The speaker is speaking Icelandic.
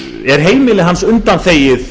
er heimili hans undanþegið